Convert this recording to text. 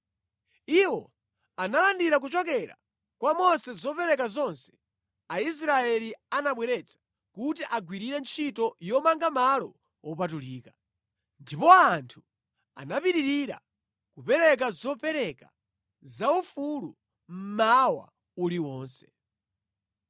Iwo analandira kuchokera kwa Mose zopereka zonse Aisraeli anabweretsa kuti agwirire ntchito yomanga malo wopatulika. Ndipo anthu anapitirira kupereka zopereka zaufulu mmawa uliwonse.